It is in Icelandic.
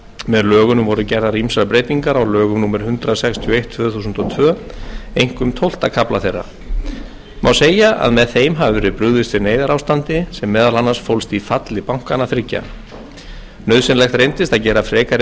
með lögunum voru gerðar ýmsar breytingar á lögum númer hundrað sextíu og eitt tvö þúsund og tvö einkum tólfta kafla þeirra má segja að með þeim hafi verið brugðist við neyðarástandi sem meðal annars fólst í falli bankanna þriggja nauðsynlegt reyndist að gera frekari